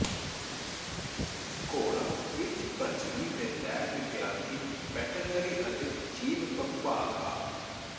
ਘੋੜਾ ਵਿੱਚ ਪ੍ਰਜਨਨ ਦੇ ਲੈਬ ਵਿਦਿਆਰਥੀ ਵੈਟਰਨਰੀ ਅਤੇ ਜੀਵ ਵਵਭਾਗ ਆ